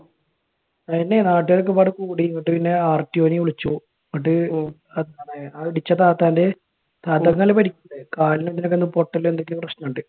നാട്ടുകാരൊക്കെ ഒരുപാട് കൂടി. എന്നിട്ട് പിന്നെ RTO നെ വിളിച്ചു. എന്നിട്ട് ആ ഇടിച്ച താത്താന്റെ താത്താക്ക് നല്ല പരിക്കിണ്ടായി. കാലിന്റെ എല്ലിനൊക്കെ നല്ല പൊട്ടലും എന്തൊക്കെയോ പ്രശ്‌നവുമൊക്കെ ഇണ്ട്.